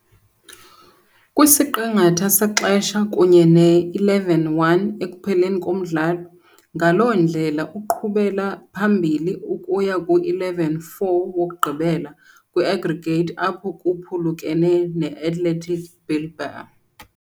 kwisiqingatha sexesha kunye ne-11-1 ekupheleni komdlalo, ngaloo ndlela uqhubela phambili ukuya ku-11-4 wokugqibela kwi-aggregate, apho baphulukene ne- Athletic Bilbao .